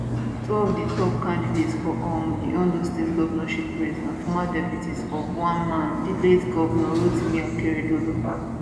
two of di top candidates for um di ondo state govnorship race na former deputies of one man di late govnor rotimi akeredolu